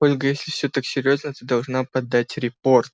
ольга если все так серьёзно ты должна подать репорт